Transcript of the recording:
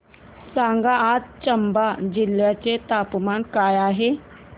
सांगा आज चंबा जिल्ह्याचे तापमान काय आहे